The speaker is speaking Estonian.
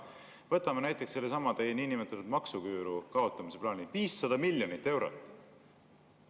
Võtame näiteks sellesama teie niinimetatud maksuküüru kaotamise plaani: 500 miljonit eurot.